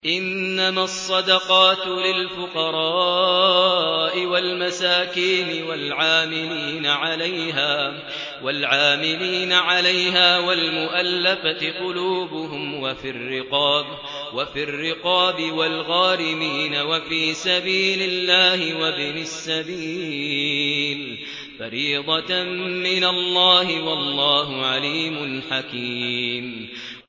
۞ إِنَّمَا الصَّدَقَاتُ لِلْفُقَرَاءِ وَالْمَسَاكِينِ وَالْعَامِلِينَ عَلَيْهَا وَالْمُؤَلَّفَةِ قُلُوبُهُمْ وَفِي الرِّقَابِ وَالْغَارِمِينَ وَفِي سَبِيلِ اللَّهِ وَابْنِ السَّبِيلِ ۖ فَرِيضَةً مِّنَ اللَّهِ ۗ وَاللَّهُ عَلِيمٌ حَكِيمٌ